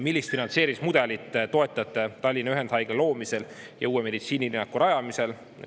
Millist finantseerimismudelit toetate Tallinna Ühendhaigla loomisel ja uue meditsiinilinnaku rajamisel?